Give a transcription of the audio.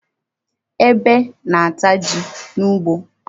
Ebe na-ata ji n'ugbo.